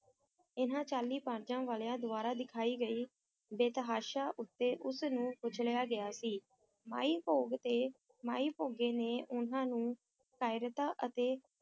ਇਨ੍ਹਾਂ ਚਾਲੀ ਪਰਜਾਂ ਵਾਲਿਆਂ ਦੁਆਰਾ ਦਿਖਾਈ ਗਈ ਬੇਤਹਾਸ਼ਾ ਉੱਤੇ ਉਸ ਨੂੰ ਕੁਚਲਿਆ ਗਿਆ ਸੀ, ਮਾਈ ਭੋਗ ਤੇ ਮਾਈ ਭੋਗੇ ਨੇ ਉਨ੍ਹਾਂ ਨੂੰ ਕਾਇਰਤਾ ਅਤੇ